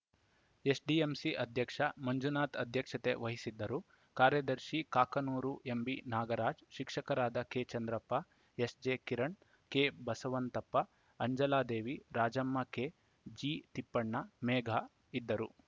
SDMC ಅಧ್ಯಕ್ಷ ಮಂಜುನಾಥ್‌ ಅಧ್ಯಕ್ಷತೆ ವಹಿಸಿದ್ದರುಕಾರ್ಯದರ್ಶಿ Kakanur MB Nagaraj ಶಿಕ್ಷಕರಾದ ಕೆಚಂದ್ರಪ್ಪ ಎಸ್‌ಜೆ ಕಿರಣ್‌ ಕೆಬಸವಂತಪ್ಪ ಅಂಜಲಾದೇವಿ ರಾಜಮ್ಮ ಕೆಜಿ ತಿಪ್ಪಣ್ಣ ಮೇಘ ಇದ್ದರು